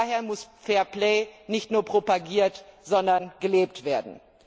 Daher muss Fairplay nicht nur propagiert, sondern auch gelebt werden.